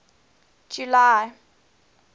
july